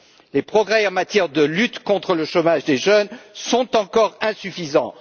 Les progrès en matière de lutte contre le chômage des jeunes sont encore insuffisants.